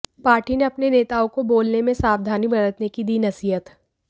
party ने अपने नेताओं को बोलने में सावधानी बरतने की दी नसीहत